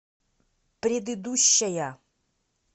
предыдущая